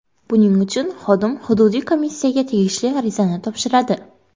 Buning uchun xodim hududiy komissiyaga tegishli arizani topshiradi.